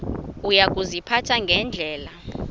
uya kuziphatha ngendlela